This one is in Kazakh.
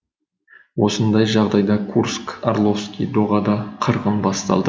осындай жағдайда курск орловский доғада қырғын басталды